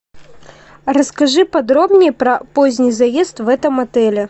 расскажи подробнее про поздний заезд в этом отеле